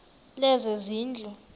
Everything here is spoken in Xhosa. lezezindlu